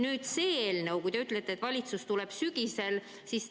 Nüüd see eelnõu – te ütlete, et valitsus tuleb sellega välja sügisel.